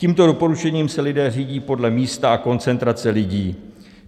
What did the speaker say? Tímto doporučením se lidé řídí podle místa a koncentrace lidí.